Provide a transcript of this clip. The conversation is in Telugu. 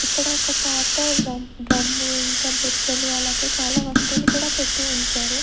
ఇక్కడ ఒక పాత డ్రమ్ము ఇంకా బొచ్చలు అలాగే చాలా వస్తువులు కూడా పెట్టి ఉంచారు.